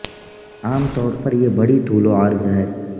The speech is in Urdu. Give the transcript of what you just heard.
عام طور پر یہ بڑی طول و عرض ہے